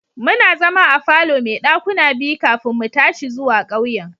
Muna zama a falo mai dakuna biyu kafin mu tashi zuwa ƙauyen.